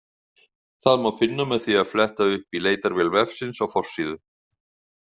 Það má finna með því að fletta upp í leitarvél vefsins á forsíðu.